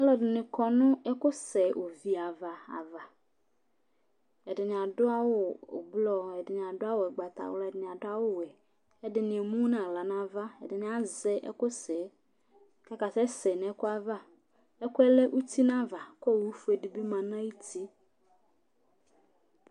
Alʋɛdɩnɩ kɔ nʋ ɛkʋsɛ ovi ava ava Ɛdɩnɩ adʋ awʋ ʋblɔ, ɛdɩ adʋ awʋ ʋgbatawla, ɛdɩnɩ adʋ awʋwɛ, ɛdɩnɩ emu nʋ aɣla nʋ ava, ɛdɩnɩ azɛ ɛkʋsɛ yɛ kʋ ɔkasɛsɛ nʋ ɛkʋ ava Ɛkʋ yɛ lɛ uti nʋ ava kʋ owufue dɩ bɩ ma nʋ ayuti